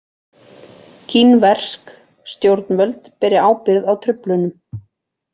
Kínversk stjórnvöld beri ábyrgð á truflunum